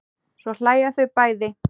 Svo hlæja þau bæði.